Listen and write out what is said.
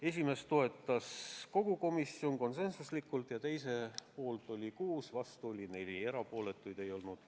Esimest toetas kogu komisjon konsensusega ja teise poolt oli 6, vastu 4, erapooletuid ei olnud.